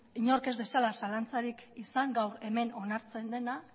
inork ez dezala zalantzarik izan gaur hemen onartzen dena